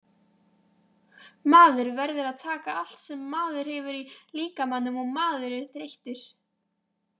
Maður verður að taka allt sem maður hefur í líkamanum og maður er þreyttur.